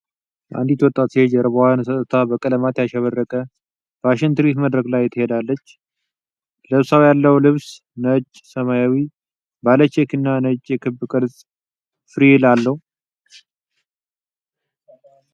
አንዲት ወጣት ሴት ጀርባዋን ሰጥታ በቀለማት ያሸበረቀ ፋሽን ትርኢት መድረክ ላይ ትሄዳለች። ለብሳው ያለው ልብስ ነጭ፣ ሰማያዊ ባለ ቼክ እና ነጭ የክብ ቅርጽ ፍሪል አለው።